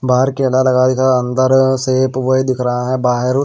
बाहर केला लगा दिख अंदर शेप वही दिख रहा है बाहर--